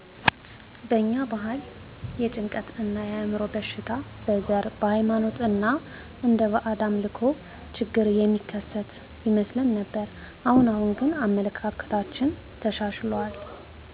በእኛ ባህል የጭንቀት እና የአዕምሮ በሽታን በዘር ,በሃይማኖት ወይም እንደ ባእድ አምልኮ ችግር የሚከሰት ይመስለን ነበር። አሁን አሁን ግን አመለካከታችን ተሻሽሎል